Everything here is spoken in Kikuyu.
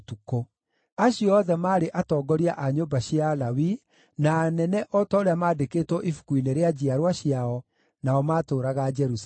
Acio othe maarĩ atongoria a nyũmba cia Alawii, na anene o ta ũrĩa maandĩkĩtwo ibuku-inĩ rĩa njiarwa ciao, nao maatũũraga Jerusalemu.